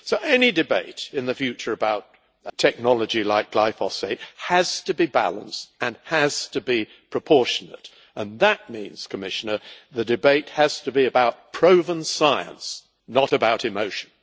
Any debate in the future about technology like glyphosate has to be balanced and has to be proportionate, and that means, Commissioner, the debate has to be about proven science not about emotion.